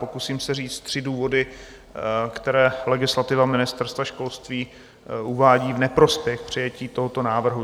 Pokusím se říct tři důvody, které legislativa Ministerstva školství uvádí v neprospěch přijetí tohoto návrhu.